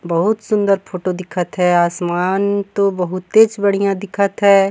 बहुत सुन्दर फोटो दिखा थे आसमान तो बहुतेच बढ़िया दिखाथे।